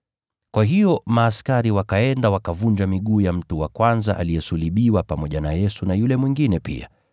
Kwa hiyo askari wakaenda wakavunja miguu ya mtu wa kwanza aliyesulubiwa pamoja na Yesu na yule mwingine pia.